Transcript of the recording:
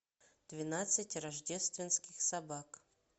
двенадцать рождественских собак